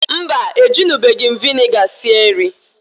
Mbaǃ E junubeghi m viniga sie nri.